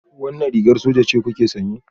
Wannan rigar soja ce kuke sanye?